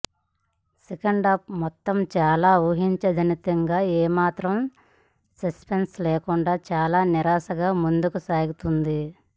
second half మొత్తం చాలా ఊహాజనితంగా ఏ మాత్రం సస్పెన్స్ లేకుండా చాలా నీరసంగా ముందుకు సాగుతుంది